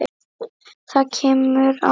Það kemur á óvart.